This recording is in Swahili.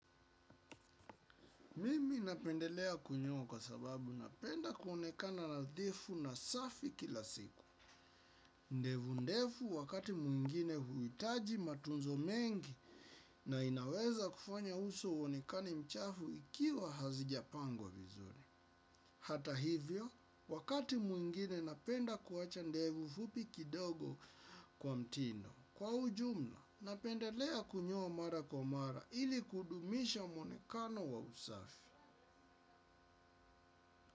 Mimi napendelea kunyoa kwa sababu napenda kuonekana nadhifu na safi kila siku. Ndevu ndefu wakati mwingine huhitaji matunzo mengi na inaweza kufanya uso uonekane mchafu ikiwa hazijapangwa vizuri. Hata hivyo, wakati mwingine napenda kuwacha ndefu fupi kidogo kwa mtindo. Kwa ujumla, napendelea kunyoa mara kwa mara ili kudumisha mwonekano wa usafi.